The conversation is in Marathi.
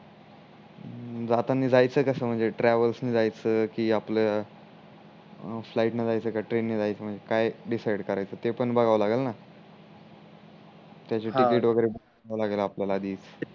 जाताना जायच कस म्हणजे ट्रॅवेल्स न जायच की आपल्या फ्लाइट ने जायच का ट्रेन ने जायच म्हणजे काय डिसाइड करायच ते पण बघाव लागेल न त्याची टिकिट वागेरे बनवा लागेल आपल्याला आधी